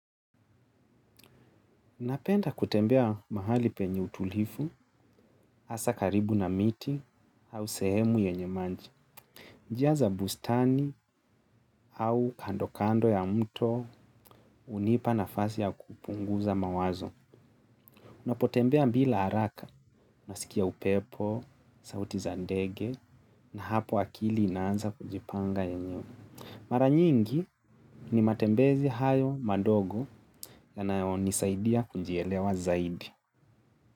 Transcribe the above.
Napenda kutembea mahali penye utulivu, hasa karibu na miti au sehemu yenye maji. Njia za bustani au kando kando ya mto hunipa nafasi ya kupunguza mawazo. Unapotembea bila haraka, unasikia upepo, sauti za ndege, na hapo akili inaanza kujipanga yenyewe. Mara nyingi ni matembezi hayo madogo yanayonisaidia kujielewa zaidi.